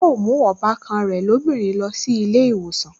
Yóò mú ọbàkan rẹ̀ lóbìnrin lọ sí ilé ìwòsàn